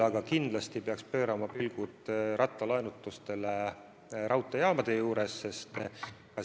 Aga kindlasti peaks pöörama pilgud rattalaenutustele raudteejaamade juures.